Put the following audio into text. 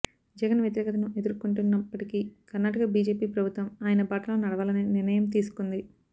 జగన్ వ్యతిరేకతను ఎదుర్కుంటున్నప్పటికీ కర్ణాటక బిజెపి ప్రభుత్వం ఆయన బాటలో నడవాలని నిర్ణయం తీసుకుంది